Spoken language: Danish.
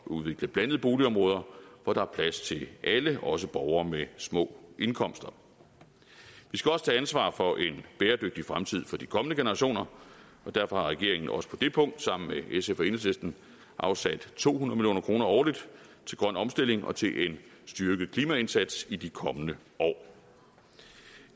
udvikle blandede boligområder hvor der er plads til alle også borgere med små indkomster vi skal også tage ansvar for en bæredygtig fremtid for de kommende generationer derfor har regeringen også på det punkt sammen med sf og enhedslisten afsat to hundrede million kroner årligt til grøn omstilling og til en styrket klimaindsats i de kommende år